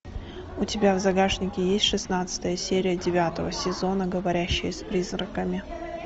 у тебя в загашнике есть шестнадцатая серия девятого сезона говорящая с призраками